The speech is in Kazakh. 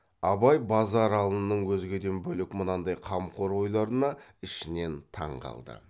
абай базаралының өзгеден бөлек мынандай қамқор ойларына ішінен таң қалды